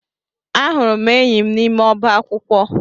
Ahụrụ m enyi m n'ime ọba akwụkwọ